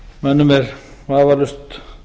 mönnum er vafalaust